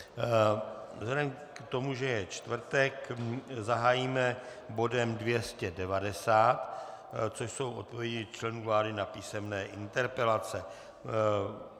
Vzhledem k tomu, že je čtvrtek, zahájíme bodem 290, což jsou odpovědi členů vlády na písemné interpelace.